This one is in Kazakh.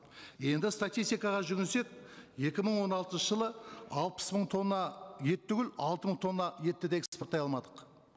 енді статистикаға жүгінсек екі мың он алтыншы жылы алпыс мың тонна ет түгіл алты мың тонна етті де экспорттай алмадық